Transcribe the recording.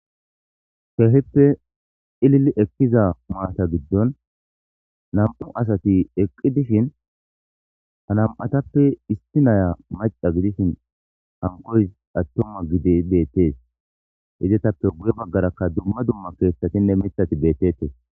Keehippe cilil ekiza mata gidon 2 asat eqi dishn ha 2 tappe issinaya maca gidishn 2 atuma gidid etappe guye bagaraka dumma dumma kethatinne mithat betishe de'etes.